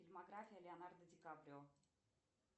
фильмография леонардо ди каприо